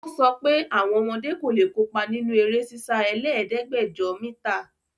Ó sọpẹ́ àwọn ọmọdé kò lè kópa nínú eré sísá ẹlẹ́ẹ̀dẹ́gbẹ́dẹ̀jọ mítà.